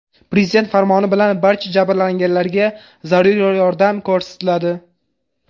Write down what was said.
Prezident farmoni bilan barcha jabrlanganlarga zarur yordam ko‘rsatiladi.